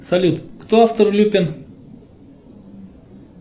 салют кто автор люпен